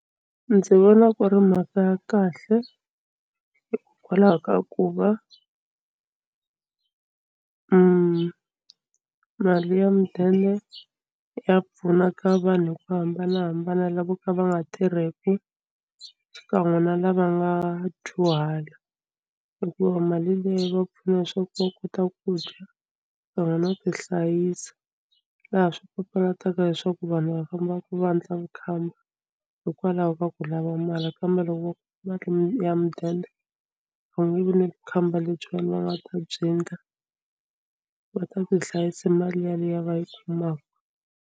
Ndzi vona ku ri mhaka ya kahle hikwalaho ka ku va mali ya mudende ya pfuna ka vanhu hi ku hambanahambana lavo ka va nga tirheki xikan'we na lava nga dyuhala hikuva mali leyi va pfuna swa ku va kota ku dya kan'we na va ti hlayisa laha swi papalata leswaku vanhu va fambaka va endla vukhamba hikwalaho ka ku lava mali kambe loko ya mudende va nge vi ni khamba lebyiwani va nga ta byi endla va ta tihlayisa hi mali yaliya va yi kumaka.